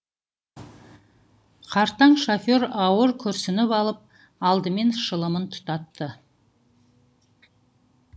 қартаң шофер ауыр күрсініп алып алдымен шылымын тұтатты